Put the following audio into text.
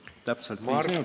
Läks täpselt viis minutit.